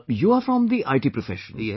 You are from the IT profession,